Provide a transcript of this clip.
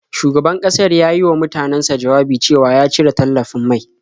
Shugaban ƙasar ya yi wa mutanansa jawabi cewa ya cire tallafin mai.